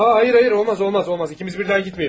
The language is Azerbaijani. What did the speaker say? A, xeyr, xeyr, olmaz, olmaz, olmaz, ikimiz birdən getməyin.